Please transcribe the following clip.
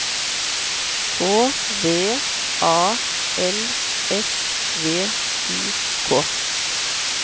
K V A L S V I K